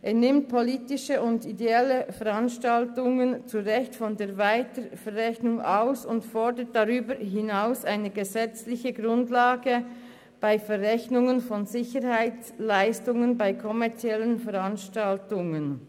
Er nimmt ideelle und politische Veranstaltungen zu Recht von der Weiterverrechnung aus und fordert darüber hinaus eine gesetzliche Grundlage für die Verrechnung von Sicherheitsleistungen bei kommerziellen Veranstaltungen.